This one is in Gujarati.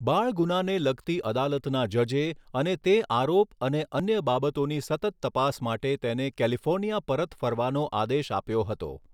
બાળ ગુનાને લગતી અદાલતના જજે અને તે આરોપ અને અન્ય બાબતોની સતત તપાસ માટે તેને કેલિફોર્નિયા પરત ફરવાનો આદેશ આપ્યો હતો